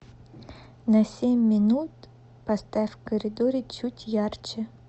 на семь минут поставь в коридоре чуть ярче